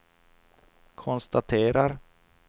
konstaterar